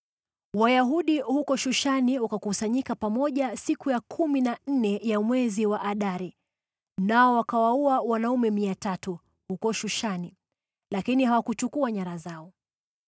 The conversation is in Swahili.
Wayahudi huko Shushani wakakusanyika pamoja siku ya kumi na nne ya mwezi wa Adari, nao wakawaua wanaume 300 huko Shushani, lakini hawakuchukua nyara zao.